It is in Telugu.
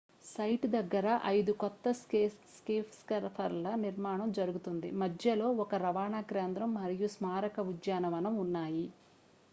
సైట్ దగ్గర ఐదు కొత్త స్కైస్కేపర్ల నిర్మాణం జరుగుతోంది మధ్యలో ఒక రవాణా కేంద్రం మరియు స్మారక ఉద్యానవనం ఉన్నాయి